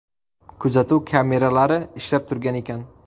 Kuzatuv kameralari ishlab turgan ekan.